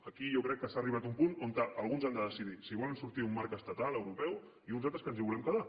aquí jo crec que s’ha arribat a un punt en què alguns han de decidir si volen sortir d’un marc estatal europeu i uns altres que ens hi volem quedar